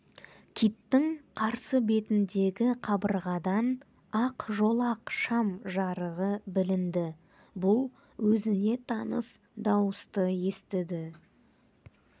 киттің қарсы бетіндегі қабырғадан ақ жолақ шам жарығы білінді бұл өзіне таныс дауысты естіді